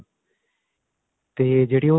ਤੇ ਜਿਹੜੀ ਉਹ